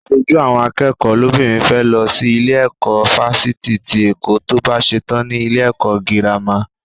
Aṣojú àwọn akẹ́kọ̀ọ́ lóbìnrin fẹ́ lọ sí ilé ẹ̀kọ́ fáfitì ti Èkó tó bá ṣetán ní ilé ẹ̀kọ́ gírámà.